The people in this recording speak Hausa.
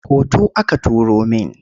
Hoto aka turo min.